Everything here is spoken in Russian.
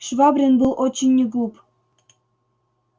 швабрин был очень не глуп